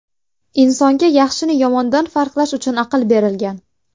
Insonga yaxshini yomondan farqlash uchun aql berilgan.